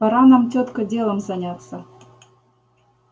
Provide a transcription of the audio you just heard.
пора нам тётка делом заняться